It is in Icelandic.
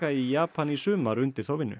í Japan í sumar undir þá vinnu